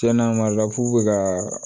Tiɲɛna mara fu bɛ ka